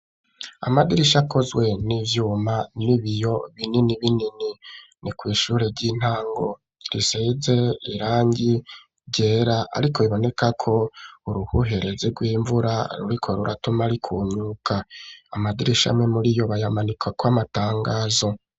Amadirisha akozwe n'ivyuma n'ibiyo binini binini ni kw'ishure ry'intango riseze irangi ryera ariko iboneka ko uruhuherezi rw'imvura ruriko ruratuma rikunguka amadirisha amwe muri iyo bayamanikako amatangazo.